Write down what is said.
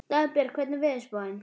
Dagbjörg, hvernig er veðurspáin?